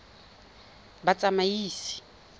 batsamaisi